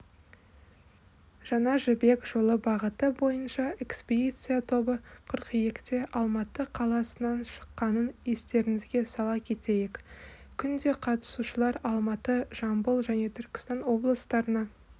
жаңа жібек жолы бағыты бойынша экспедиция тобы қыркүйекте алматы қаласынан шыққанын естеріңізге сала кетейік күнде қатысушылар алматы жамбыл және түркістан облыстарына